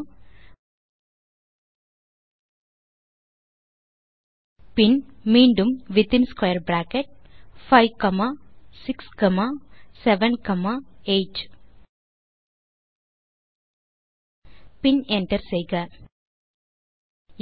gamma பின் மீண்டும் within square bracket 5 comma 6 comma 7 comma 8 பின் என்டர் செய்க